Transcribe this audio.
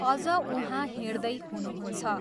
अझ उहाँ हिँड्दै हुनुहुन्छ।